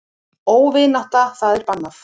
Óvinátta það er bannað.